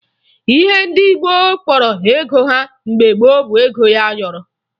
Ihe ndị Igbo kpọrọ ego ha mgbe gboo bụ ego ayọrọ